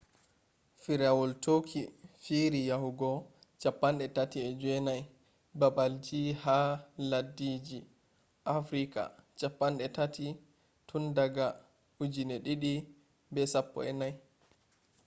firawol turkey fiiri yahugo 39 babalji ha leddije afrika 30 tun daga 2014